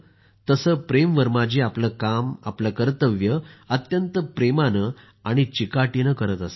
तसं प्रेम वर्मा जी आपलं काम आपलं कर्तव्य अत्यंत प्रेमानं आणि चिकाटीनं करत असतात